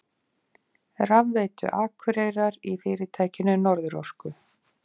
Rafveitu Akureyrar í fyrirtækinu Norðurorku.